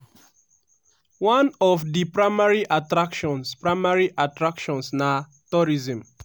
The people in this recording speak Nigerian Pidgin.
one of di primary attractions primary attractions na tourism.